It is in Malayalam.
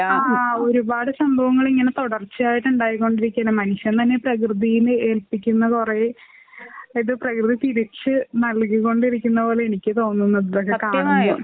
ആഹ് ഒരുപാട് സംഭവങ്ങളിങ്ങനെ തുടർച്ചയായിട്ട് ഉണ്ടായികൊണ്ടിരിക്കാണ്. മനുഷ്യൻ തന്നെ പ്രകൃതിനെ ഏല്പിക്കുന്ന കുറേ അത് പ്രകൃതി തിരിച്ച് നൽകി കൊണ്ടിരിക്കുന്ന പോലെയാണ് എനിക്ക് തോന്നുന്നുള്ളത് കാണുമ്പോ.